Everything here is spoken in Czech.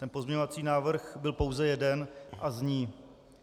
Ten pozměňovací návrh byl pouze jeden a zní: